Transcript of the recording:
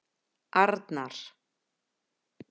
Arnar